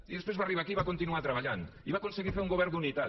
i després va arribar aquí i va continuar treballant i va aconseguir fer un govern d’unitat